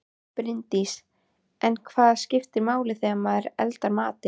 Bryndís: En hvað skiptir máli þegar maður eldar matinn?